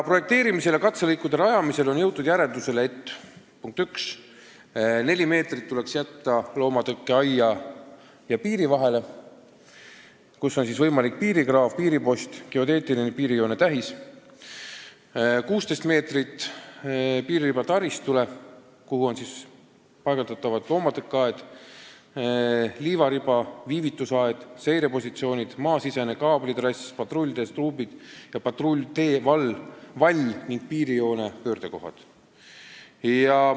Projekteerimisel ja katselõikude rajamisel on jõutud järeldusele, et 4 meetrit tuleks jätta loomatõkkeaia ja piiri vahele, kus on võimalikud piirikraav, piiripost ja geodeetiline piirijoone tähis, 16 meetrit piiririba aga taristule, kuhu on ette nähtud loomatõkkeaed, liivariba, viivitusaed, seirepositsioonid, maasisene kaablitrass, patrullradade teetruubid ja teevall ning piirijoone pöördekohad.